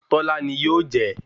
Tọ́lá ni yóò jẹ́